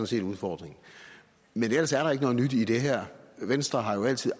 set udfordringen men ellers er der ikke noget nyt i det her venstre har jo altid